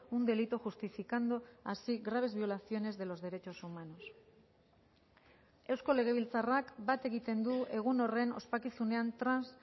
un delito justificando así graves violaciones de los derechos humanos eusko legebiltzarrak bat egiten du egun horren ospakizunean trans